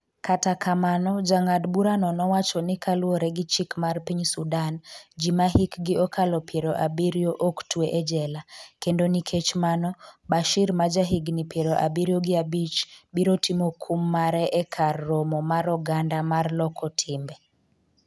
kata kamano jang'ad burano nowacho ni kaluwore gi chik mar piny Sudan, ji ma hikgi okalo piero abiriyo ok twe e jela, kendo nikech mano, Bashir maja higni piero abiriyo gi abich, biro timo kum mare e kar romo mar oganda mar loko timbe